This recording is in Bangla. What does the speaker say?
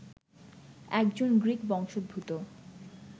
একজন গ্রিক বংশোদ্ভূত